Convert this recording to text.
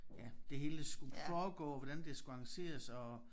Ja det hele skulle foregå hvordan det skulle arrangeres og